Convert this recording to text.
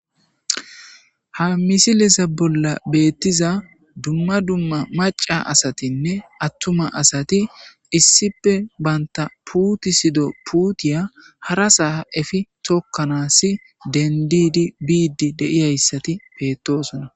Ha misileza bolan betiza duma duma mac'a asatine atuma asati isipe banta putisido putiya harasa efi tokanas dentidi bide de'iyaysati betosona.